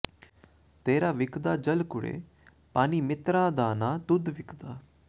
ਤੇਰਾ ਵਿਕਦਾ ਜਲ ਕੁਰੇ ਪਾਣੀ ਮਿੱਤਰਾਂ ਦਾ ਨਾ ਦੁੱਧ ਵਿਕਦਾ